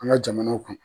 An ka jamanaw kɔnɔ